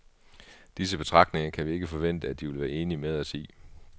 Disse betragtninger kan vi ikke forvente, at de vil være enig med os i.